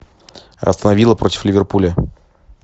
астон вилла против ливерпуля